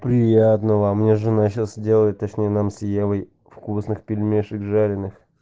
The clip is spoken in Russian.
приятного мне жена сейчас делает точнее нам с евой вкусных пельмешек жареных